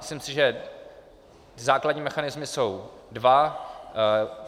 Myslím si, že základní mechanismy jsou dva.